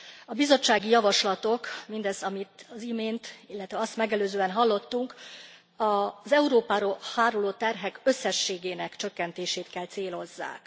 A bizottsági javaslatok, mindaz, amit az imént, illetve azt megelőzően hallottunk, az Európára háruló terhek összességének csökkentését kell célozzák.